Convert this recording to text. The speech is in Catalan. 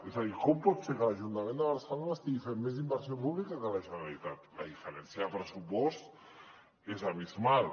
és a dir com pot ser que l’ajuntament de barcelona estigui fent més inversió pública que la generalitat la diferència de pressupost és abismal